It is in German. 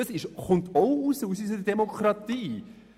Das kommt auch aus unserer Demokratie.